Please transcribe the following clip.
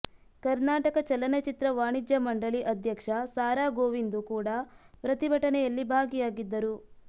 ಕರ್ನಾಟಕ ಚಲನಚಿತ್ರ ವಾಣಿಜ್ಯ ಮಂಡಳಿ ಅಧ್ಯಕ್ಷ ಸಾರಾ ಗೋವಿಂದು ಕೂಡ ಪ್ರತಿಭಟನೆಯಲ್ಲಿ ಭಾಗಿಯಾಗಿದ್ದರು